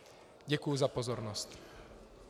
Děkuji za pozornost.